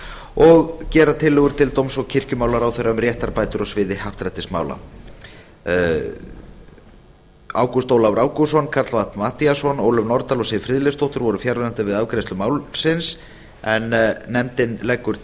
og gera tillögur til dóms og kirkjumálaráðherra um réttarbætur á sviði happdrættismála lög númer hundrað tuttugu og sjö tvö þúsund og þrjú ágúst ólafur ágústsson karl fimmti matthíasson ólöf nordal og siv friðleifsdóttir voru fjarverandi við afgreiðslu málsins en nefndin leggur